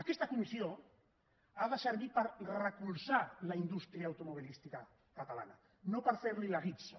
aquesta comissió ha de servir per recolzar la indústria automobilística catalana no per fer li la guitza